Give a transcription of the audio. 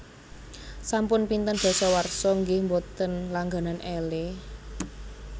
Sampun pinten dasawarsa nggeh mboten langganan Elle